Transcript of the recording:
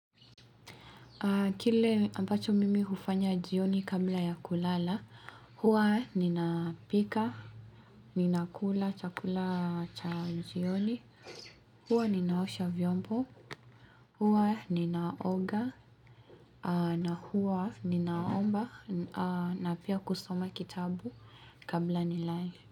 Kile ambacho mimi hufanya jioni kabla ya kulala, huwa nina pika, ninakula, chakula cha jioni, huwa ninaosha vyombo, huwa ninaoga, na huwa ninaomba, na pia kusoma kitabu kabla nilale.